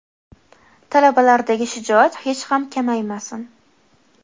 Talabalardagi shijoat hech ham kamaymasin.